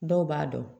Dɔw b'a dɔn